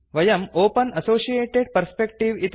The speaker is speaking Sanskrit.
वयं ओपेन असोसिएटेड् पर्स्पेक्टिव्